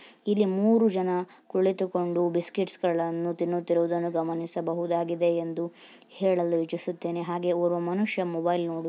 ಇಲ್ಲಿ ಮೂರು ಜನ ಕುಳಿತುಕೊಂಡು ಬಿಸ್ಕೆಟ್ಸ್ಗಳನ್ನು ತಿನ್ನುತ್ತಿರುವುದನ್ನು ಗಮನಿಸಬಹುದಾಗಿದೆ ಎಂದು ಹೇಳಲು ಇಚ್ಚಿಸುತ್ತೇನೆ ಹಾಗೆ ಓರ್ವ ಮನುಷ್ಯ ಮೊಬೈಲ್ ನೋಡು --.